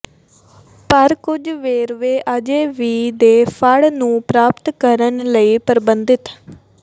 ਪਰ ਕੁਝ ਵੇਰਵੇ ਅਜੇ ਵੀ ਦੇ ਫੜ ਨੂੰ ਪ੍ਰਾਪਤ ਕਰਨ ਲਈ ਪਰਬੰਧਿਤ